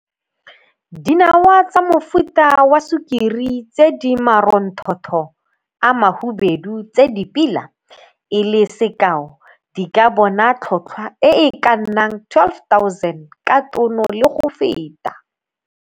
Dinawa tsa mofuta wa sukiri tse dimaronthotho a mahubedu tse di pila, e le sekao, di ka bona tlhotlhwa e e ka nnang R12 000 ka tono le go feta.